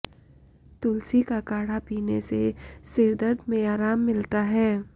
तुलसी का काढ़ा पीने से सिरदर्द में आराम मिलता है